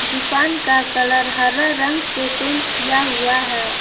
दुकान का कलर हरा रंग से पेंट किया हुआ है।